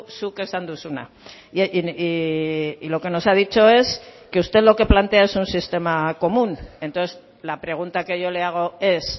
zuk esan duzuna y lo que nos ha dicho es que usted lo que plantea es un sistema común entonces la pregunta que yo le hago es